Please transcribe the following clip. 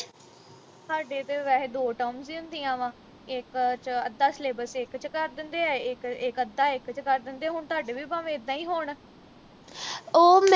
ਸਾਡੇ ਤੇ ਵੈਹੇ ਦੋ terms ਈ ਹੁੰਦੀਆ ਵਾਂ ਇਕ ਵਿਚ ਅੱਧਾ syllabus ਇਕ ਵਿਚ ਕਰ ਦਿੰਦੇ ਆ ਇਕ ਇਕ ਅੱਧਾ ਇਕ ਵਿਚ ਕਰ ਦਿੰਦੇ ਹੁਣ ਤੁਹਾਡੇ ਵੀ ਭਾਵੇ ਇੱਦਾਂ ਈ ਹੋਣ